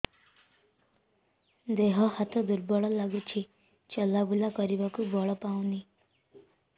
ଦେହ ହାତ ଦୁର୍ବଳ ଲାଗୁଛି ଚଲାବୁଲା କରିବାକୁ ବଳ ପାଉନି